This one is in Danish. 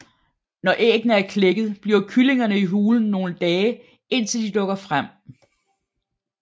Når æggene er klækket bliver kyllingerne i hulen nogle dage indtil de dukker frem